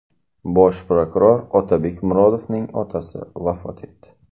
Bosh prokuror Otabek Murodovning otasi vafot etdi.